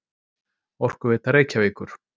Orkuveita Reykjavíkur.